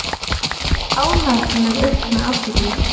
Ánægð með aukna athygli